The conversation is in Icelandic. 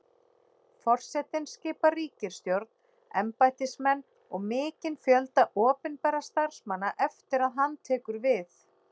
Forsetinn skipar ríkisstjórn, embættismenn og mikinn fjölda opinberra starfsmanna eftir að hann tekur við.